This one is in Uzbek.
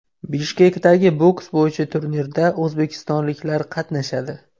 Bishkekdagi boks bo‘yicha turnirda o‘zbekistonliklar qatnashadi.